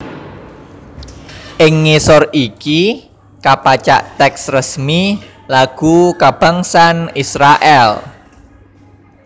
Ing ngisor iki kapacak tèks resmi lagu kabangsan Israèl